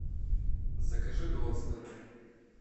закажи додстер